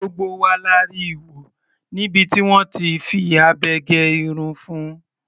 Gbogbo wa la rí wọ níbi tí wọ́n ti fi abẹ gé irun fun.